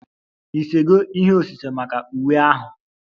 Ị sego ihe osise maka uwe ahụ?